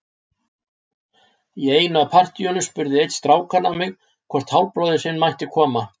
Í einu af partíunum spurði einn strákanna mig hvort hálfbróðir sinn mætti koma.